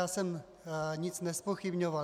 Já jsem nic nezpochybňoval.